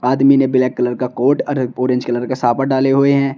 आदमी ने black colour का कोट और ऑरेंज कलर का साफद डाले हुए हैं।